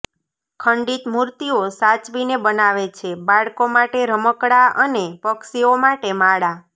ખંડિત મૂર્તિઓ સાચવીને બનાવે છે બાળકો માટે રમકડા અને પક્ષીઓના માળા